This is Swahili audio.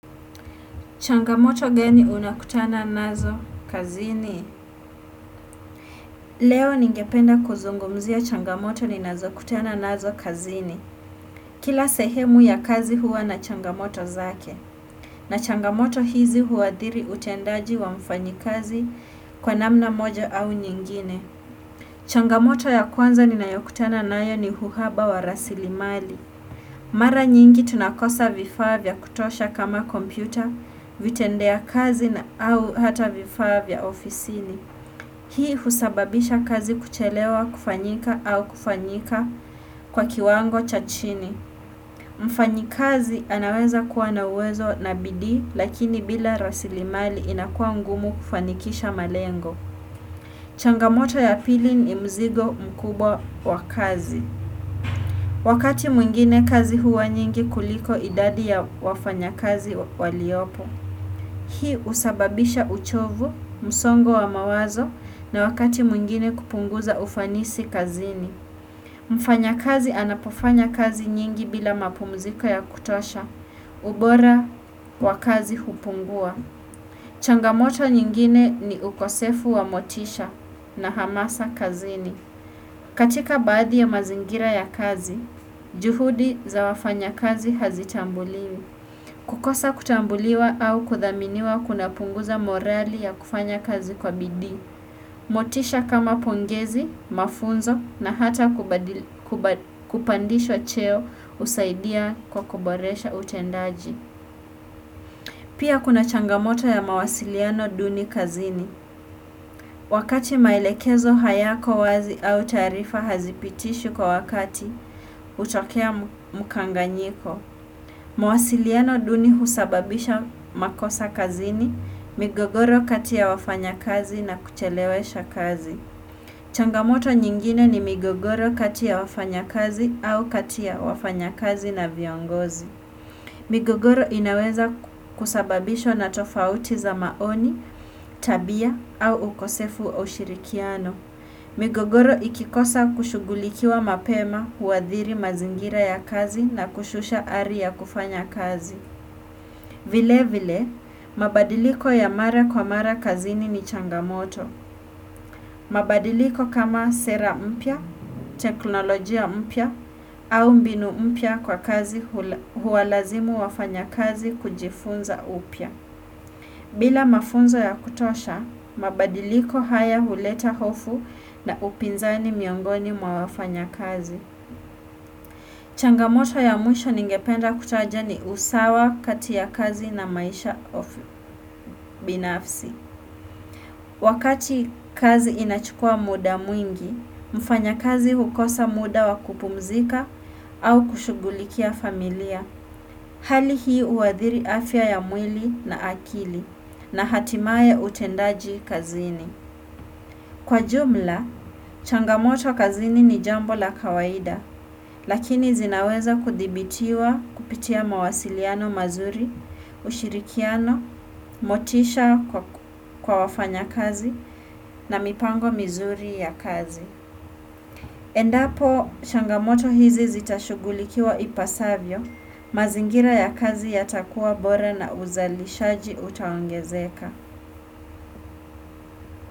Changamoto gani unakutana nazo kazini? Leo ningependa kuzungumzia changamoto ni nazo kutana nazo kazini. Kila sehemu ya kazi huwa na changamoto zake. Na changamoto hizi huwa dhiri utendaji wa mfanyi kazi kwa namna moja au nyingine. Changamoto ya kwanza ni na yokutana nayo ni huhaba wa rasili mali. Mara nyingi tunakosa vifaa vya kutosha kama kompyuta, vitendea kazi na au hata vifaa vya ofisini. Hii husababisha kazi kuchelewa kufanyika au kufanyika kwa kiwango cha chini. Mfanyi kazi anaweza kuwa na uwezo na bidii lakini bila rasilimali inakuwa ngumu kufanikisha malengo. Changamoto ya pili ni mzigo mkubwa wa kazi. Wakati mwingine kazi huwa nyingi kuliko idadi ya wafanya kazi waliopo, hii usababisha uchovu, msongo wa mawazo na wakati mwingine kupunguza ufanisi kazini. Mfanya kazi anapofanya kazi nyingi bila mapumziko ya kutosha, ubora wakazi kupungua. Changamoto nyingine ni ukosefu wa motisha na hamasa kazini. Katika baadhi ya mazingira ya kazi, juhudi za wafanya kazi hazitambuliwi. Kukosa kutambuliwa au kuthaminiwa kuna punguza morali ya kufanya kazi kwa bidii. Motisha kama pongezi, mafunzo na hata kupandishwa cheo usaidia kwa kuboresha utendaji. Pia kuna changamoto ya mawasiliano duni kazini. Wakati maelekezo hayako wazi au taarifa hazipitishwi kwa wakati utokea mkanganyiko. Mawasiliano duni husababisha makosa kazini, migogoro kati ya wafanya kazi na kuchelewesha kazi. Changamoto nyingine ni migogoro kati ya wafanya kazi au kati ya wafanya kazi na viongozi. Migogoro inaweza kusababishwa na tofauti za maoni, tabia au ukosefu au ushirikiano. Migogoro ikikosa kushugulikiwa mapema huadhiri mazingira ya kazi na kushusha ari ya kufanya kazi. Vile vile, mabadiliko ya mara kwa mara kazini ni changamoto. Mabadiliko kama sera mpya, teknolojia mpya au mbinu mpya kwa kazi huwalazimu wafanya kazi kujifunza upya bila mafunzo ya kutosha, mabadiliko haya huleta hofu na upinzani miongoni mwa wafanya kazi changamoto ya mwisho ningependa kutaja ni usawa kati ya kazi na maisha of binafsi Wakati kazi inachukua muda mwingi, mfanya kazi hukosa muda wakupumzika au kushugulikia familia. Hali hii uadhiri afya ya mwili na akili na hatimaye utendaji kazini. Kwa jumla, changamoto kazini ni jambo la kawaida. Lakini zinaweza kudhibitiwa kupitia mawasiliano mazuri, ushirikiano, motisha kwa wafanya kazi na mipango mizuri ya kazi. Endapo, changamoto hizi zitashugulikiwa ipasavyo, mazingira ya kazi yatakuwa bora na uzalishaji utaongezeka.